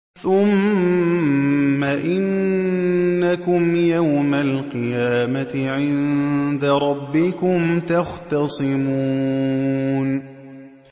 ثُمَّ إِنَّكُمْ يَوْمَ الْقِيَامَةِ عِندَ رَبِّكُمْ تَخْتَصِمُونَ